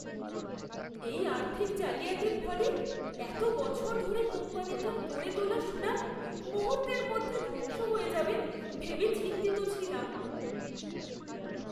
এই আর্থিক জালিয়াতির ফলে এত বছর ধরে কোম্পানিটার গড়ে তোলা সুনাম মুহূর্তের মধ্যে ধ্বংস হয়ে যাবে ভেবে চিন্তিত ছিলাম।